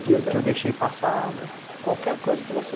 vida Aquela que eu deixei passar, qualquer coisa que você...